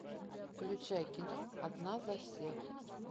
включай кино одна за всех